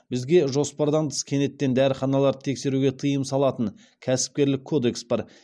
бізге жоспардан тыс кенеттен дәріханаларды тексеруге тыйым салатын кәсіпкерлік кодекс бар